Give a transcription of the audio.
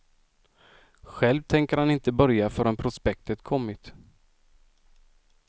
Själv tänker han inte börja räkna förrän prospektet kommit.